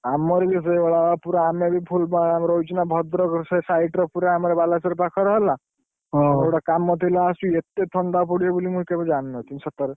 ଆମର ବି ସେଇ ଭଳିଆ ବା, ଆମେ ବି ଫୁଲବାଣୀରେ ଆମେ ରହିଛୁ ନା ଭଦ୍ରକର ସେ side ର ପୁରା ଆମର ବାଲେଶ୍ବର ପାଖରେ ହେଲା। ଗୋଟେ କାମ ଥିଲା ଆସି ଏତେ ଥଣ୍ଡା ପଡିବ ବୋଲି ମୁଁ କେବେ ଜାଣି ନଥିଲି ସତରେ।